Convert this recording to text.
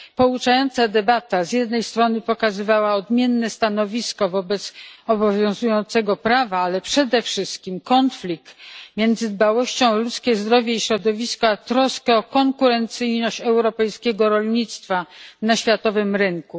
Pouczająca debata z jednej strony pokazywała odmienne stanowisko wobec obowiązującego prawa, ale przede wszystkim konflikt między dbałością o ludzkie zdrowie i środowisko a troską o konkurencyjność europejskiego rolnictwa na światowym rynku.